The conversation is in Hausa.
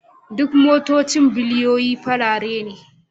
Duk motocin biliyoyin farare ne